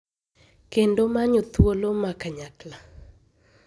kendo manyo thuolo ma kanyakla